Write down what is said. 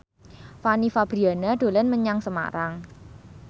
Fanny Fabriana dolan menyang Semarang